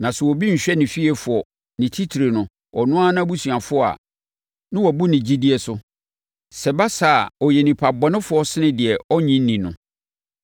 Na sɛ obi nhwɛ ne fiefoɔ, ne titire no, ɔno ara nʼabusuafoɔ a, na wabu ne gyidie so. Sɛ ɛba saa a, ɔyɛ onipa bɔne sene deɛ ɔnnye nni no.